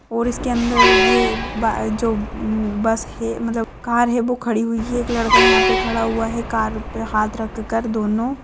और इसके अंदर ये बा जो हम्म बस है मतलब कार है वो खड़ी हुई है एक लड़का यहा पे खड़ा हुआ है कार पे हात रखकर दोनों--